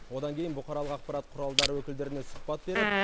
одан кейін бұқаралық ақпарат құралдары өкілдеріне сұхбат беріп